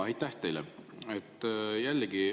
Aitäh teile!